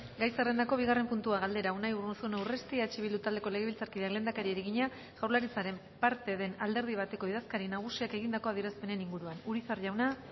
gai zerrendako bigarren puntua galdera unai urruzuno urresti eh bildu taldeko legebiltzarkideak lehendakariari egina jaurlaritzaren parte den alderdi bateko idazkari nagusiak egindako adierazpenen inguruan urizar jauna